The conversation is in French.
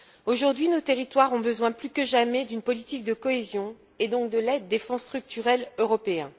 Aujourd'hui, nos territoires ont besoin plus que jamais d'une politique de cohésion et donc de l'aide des fonds structurels européens.